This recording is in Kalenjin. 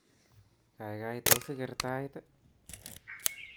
Kaikai tos iker tait